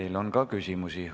Teile on ka küsimusi.